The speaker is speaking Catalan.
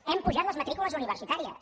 hem apujat les matrícules universitàries